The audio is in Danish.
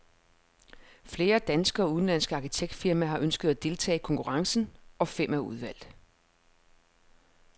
Flere danske og udenlandske arkitektfirmaer har ønsket at deltage i konkurrencen, og fem er udvalgt.